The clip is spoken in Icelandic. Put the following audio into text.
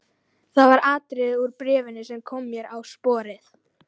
Það var atriði úr bréfinu sem kom mér á sporið.